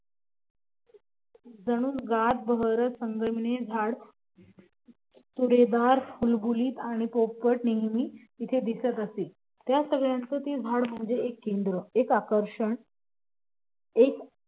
जणू गात बहरत संगीतमय झाड तुरेदार बुलबुल आणि पोपट नेहमी तिथं दिसत असे त्या सगळ्यांचं ते झाड म्हणजे एक केंद्र एक आकर्षण एक